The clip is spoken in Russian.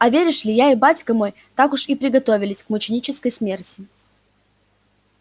а веришь ли я и батька мой так уж и приготовились к мученической смерти